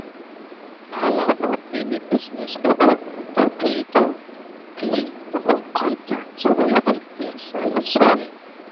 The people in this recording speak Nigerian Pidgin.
na wahala for many business pipu to gree to gree for contact wey fit dia service wel